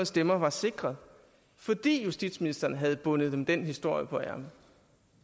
stemmer var sikret fordi justitsministeren havde bundet dem den historie på ærmet